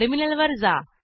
terminal वर जा